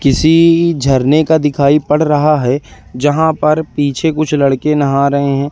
किसी झरने का दिखाई पड़ रहा है जहां पर पीछे कुछ लड़के नहा रहे हैं।